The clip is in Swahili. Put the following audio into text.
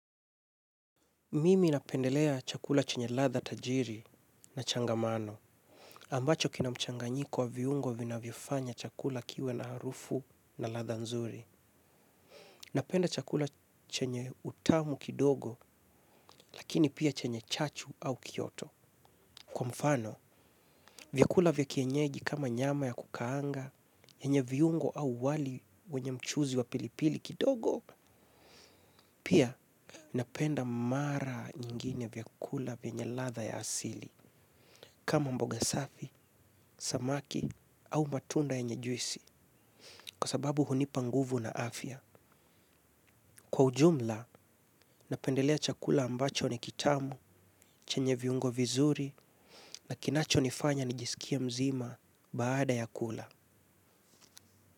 Mimi napendelea chakula chenye latda tajiri na changamano. Ambacho kina mchanganyiko wa viungo vinavyofanya chakula kiwe na harufu na ladha nzuri. Napenda chakula chenye utamu kidogo, lakini pia chenye chachu au kioto. Kwa mfano, vyakula vya kienyeji kama nyama ya kukaanga, yenye viungo au wali wenye mchuzi wa pilipili kidogo, pia napenda mara nyingine vyakula vyenye ladha ya asili. Kama mboga safi, samaki au matunda yenye juisi kwa sababu hunipa nguvu na afya. Kwa ujumla, napendelea chakula ambacho ni kitamu chenye viungo vizuri na kinachonifanya nijisikia mzima baada ya kula.